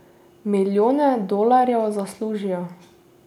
Milijone dolarjev zaslužijo.